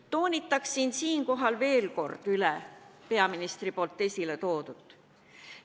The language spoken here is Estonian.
Toonitaksin siinkohal veel kord peaministri esiletoodut.